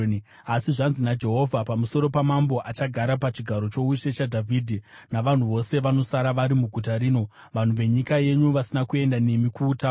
asi zvanzi naJehovha pamusoro pamambo achagara pachigaro choushe chaDhavhidhi navanhu vose vanosara vari muguta rino, vanhu venyika yenyu vasina kuenda nemi kuutapwa,